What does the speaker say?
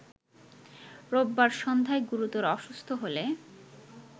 রোববার সন্ধ্যায় গুরুতর অসুস্থ হলে